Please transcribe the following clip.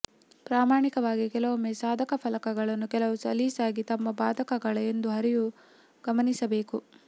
ಪ್ರಾಮಾಣಿಕವಾಗಿ ಕೆಲವೊಮ್ಮೆ ಸಾಧಕ ಫಲಕಗಳನ್ನು ಕೆಲವು ಸಲೀಸಾಗಿ ತಮ್ಮ ಬಾಧಕಗಳ ಎಂದು ಹರಿವು ಗಮನಿಸಬೇಕು